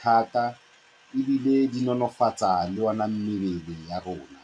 thata ebile di nonofatsa le ona mmele wa rona.